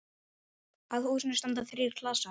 Að húsinu standa þrír klasar.